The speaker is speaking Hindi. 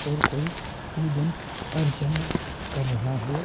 और कोई पूजन अर्चना कर रहा है।